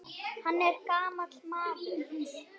Hann er gamall maður.